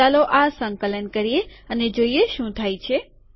ચાલો આ સંકલન કરીએ અને જોઈએ શું થાય છે